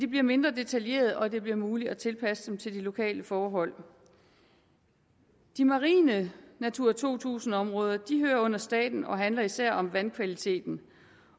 bliver mindre detaljeret og det bliver muligt at tilpasse den til de lokale forhold de marine natura to tusind områder hører under staten og handler især om vandkvaliteten